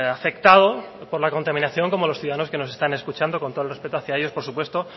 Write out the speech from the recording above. afectado por la contaminación como los ciudadanos que nos están escuchando con todo el respeto hacia ellos por supuesto